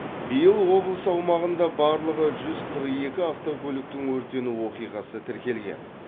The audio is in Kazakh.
биыл облыс аумағында барлығы жүз қырық екі автокөліктің өртену оқиғасы тіркелген